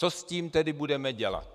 Co s tím tedy budeme dělat?